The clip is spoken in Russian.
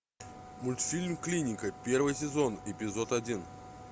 мультфильм клиника первый сезон эпизод один